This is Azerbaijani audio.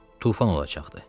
Tufan olacaqdı.